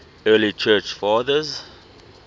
early church fathers